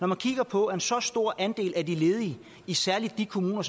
man kigger på at en så stor andel af de ledige særlig i de kommuner